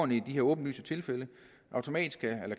de her åbenlyse tilfælde automatisk